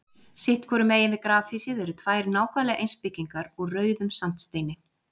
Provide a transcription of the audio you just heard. Sitt hvoru megin við grafhýsið eru tvær nákvæmlega eins byggingar úr rauðum sandsteini.